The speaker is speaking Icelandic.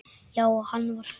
Já, hann var fær!